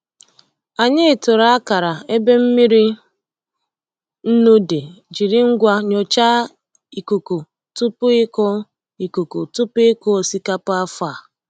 Anyị tụrụ akara ebe mmiri nnu dị jiri ngwa nnyocha ikuku tupu ịkụ ikuku tupu ịkụ osikapa afọ a.